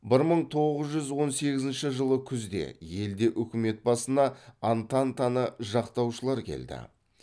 бір мың тоғыз жүз он сегізінші жылы күзде елде үкімет басына антантаны жақтаушылар келді